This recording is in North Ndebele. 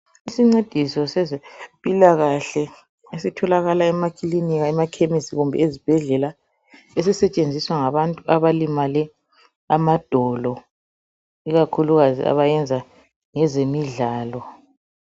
Isincediso sezempilakahle esitholakala emakilinika, emakhemisi kumbe ezibhedlela esisetshenziswa ngabantu abalimale amadolo ikakhulukazi abayenza ngezemidlalo.